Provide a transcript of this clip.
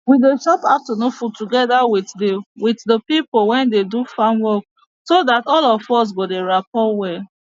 we dey chop afternoon food togeda with de with de pipo wey dey do farm work so dat all of us go dey rappor well